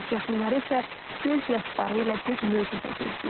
Yaxınları isə göz yaşları ilə bir möcüzə gözləyir.